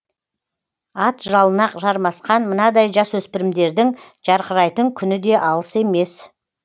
ат жалына жармасқан мынадай жасөспірімдердің жарқырайтын күні де алыс емес